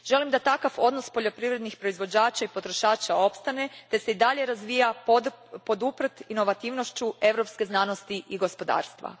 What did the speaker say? Želim da takav odnos poljoprivrednih proizvođača i potrošača opstane te se i dalje razvija poduprt inovativnošću europske znanosti i gospodarstva.